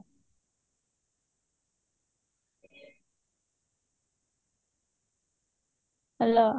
hello